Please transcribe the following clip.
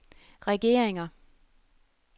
regeringer